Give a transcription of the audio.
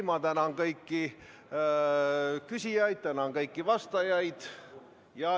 Ma tänan kõiki küsijaid, tänan kõiki vastajaid.